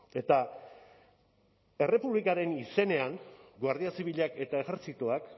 eta errepublikaren izenean guardia zibilak eta ejerzitoak